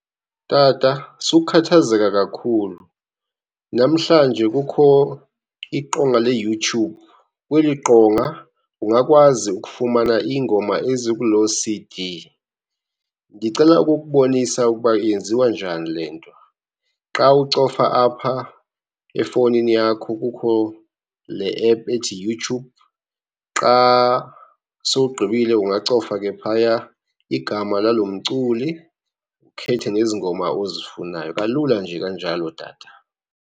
Tata sukukhathazeka kakhulu. Namhlanje kukho iqonga leYouTube, kweli qonga ungakwazi ukufumana iingoma ezikuloo C_D. Ndicela ukukubonisa ukuba yenziwa njani le nto. Xa ucofa apha efowunini yakho kukho le ephu ethi YouTube. Xa sowugqibile ungacofa ke phaya igama lalo mculi, ukhethe nezi ngoma ozifunayo. Kalula nje kanjalo tata.